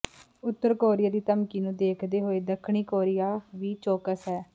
ਉਤਰ ਕੋਰੀਆ ਦੀ ਧਮਕੀ ਨੂੰ ਦੇਖਦੇ ਹੋਏ ਦੱਖਣੀ ਕੋਰੀਆ ਵੀ ਚੌਕਸ ਹੈ